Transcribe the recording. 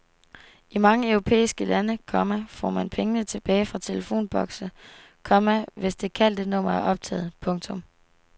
I mange europæiske lande, komma får man penge tilbage fra telefonbokse, komma hvis det kaldte nummer er optaget. punktum